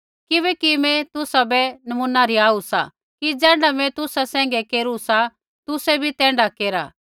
किबैकि मैं तुसाबै नमूना रिहाऊ सा कि ज़ैण्ढा मैं तुसा सैंघै केरू सा तुसै भी तैण्ढा केरा